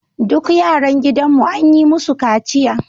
Duk yaran gidanmu an yi musu kaciya